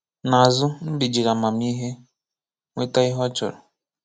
N’azụ Mbe jiri amamihe nweta ihe ọ chọrọ.